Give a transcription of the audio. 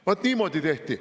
Vaat niimoodi tehti.